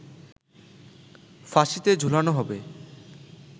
ফাঁসিতে ঝুলানো হবে